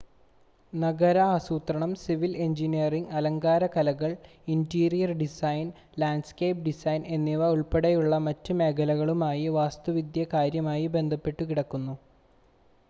നഗര ആസൂത്രണം civil engineering അലങ്കാര കലകൾ ഇൻ്റീരിയർ ഡിസൈൻ ലാൻഡ്സ്കേപ്പ് ഡിസൈൻ എന്നിവ ഉൾപ്പെടെയുള്ള മറ്റ് മേഖലകളുമായി വാസ്തുവിദ്യ കാര്യമായി ബന്ധപ്പെട്ടുകിടക്കുന്നു